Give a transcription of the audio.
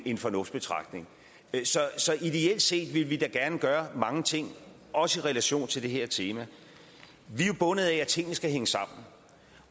en fornuftsbetragtning så ideelt set ville vi da gerne gøre mange ting også i relation til det her tema vi er jo bundet af at tingene skal hænge sammen